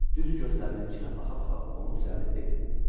Düz gözlərinin içinə baxa-baxa onu düzəldib dedim: